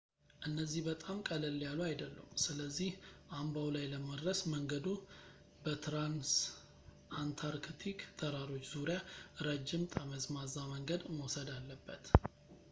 እነዚህ በጣም ቀለል ያሉ አይደሉም ፣ ስለዚህ አምባው ላይ ለመድረስ መንገዱ በትራንስአንታርክቲክ ተራሮች ዙሪያ ረጅም ጠመዝማዛ መንገድ መውሰድ አለበት